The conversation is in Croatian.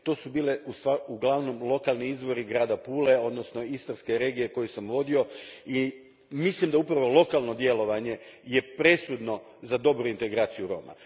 To su bili uglavnom lokalni izvori grada Pule, odnosno istarske regije koju sam vodio i mislim da je upravo lokalno djelovanje presudno za dobru integraciju Roma.